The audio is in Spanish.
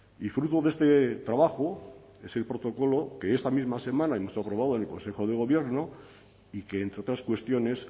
y fruto de este trabajo es el protocolo que esta misma semana hemos aprobado en el consejo de gobierno y que entre otras cuestiones